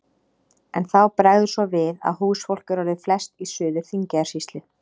En þá bregður svo við að húsfólk er orðið flest í Suður-Þingeyjarsýslu.